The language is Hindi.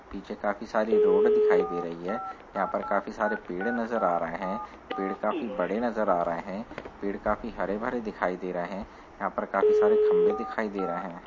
पीछे काफी सारी रोड दिखाई दे रही हैं। यहाँ पर काफी सारे पेड़ नजर आ रहे हैं। पेड़ काफी बड़े नजर आ रहे हैं। पेड़ काफी हरे भरे दिखाई दे रहे हैं। यहाँ पे काफी सारे खंभे दिखाई दे रहे हैं।